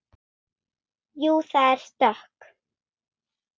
Jú, það er stökk.